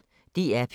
DR P1